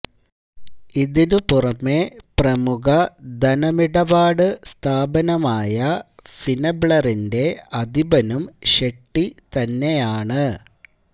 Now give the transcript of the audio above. ഇതിന് പുറമേ പ്രമുഖ ധനമിപാട് സ്ഥാപനമായ ഫിനെബ്ലറിന്റെ അധിപനും ഷെട്ടി തന്നെയാണ്